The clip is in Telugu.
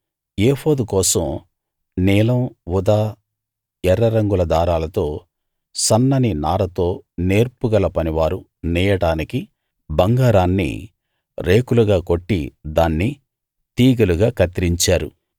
ఏఫోదు కోసం నీలం ఊదా ఎర్ర రంగుల దారాలతో సన్నని నారతో నేర్పుగల పనివారు నేయడానికి బంగారాన్ని రేకులుగా కొట్టి దాన్ని తీగెలుగా కత్తిరించారు